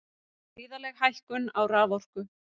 Gríðarleg hækkun á raforku